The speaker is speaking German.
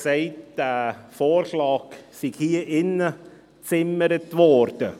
Sie sagte, der Vorschlag sei hier im Ratssaal gezimmert worden.